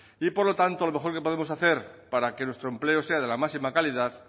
y por lo tanto lo mejor que podemos hacer para que nuestros empleo sea de la máxima calidad